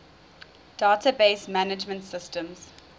database management systems